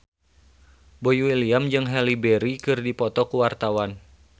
Boy William jeung Halle Berry keur dipoto ku wartawan